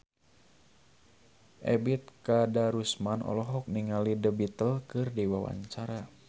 Ebet Kadarusman olohok ningali The Beatles keur diwawancara